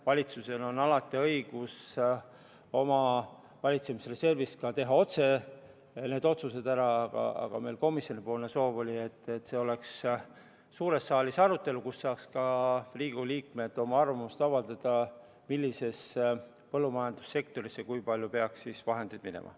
Valitsusel on alati õigus teha oma valitsemisreservist otse sellised otsused ära, aga meil oli komisjonis soov, et see tuleks suurde saali arutelule, nii et ka Riigikogu liikmed saaksid avaldada oma arvamust, millisesse põllumajandussektorisse kui palju vahendeid peaks minema.